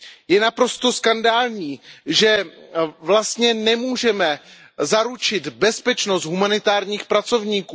Je naprosto skandální, že vlastně nemůžeme zaručit bezpečnost humanitárních pracovníků.